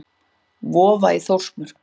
Vofa í Þórsmörk.